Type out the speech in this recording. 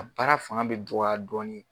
A baara fanga bɛ dɔgɔya dɔɔnin.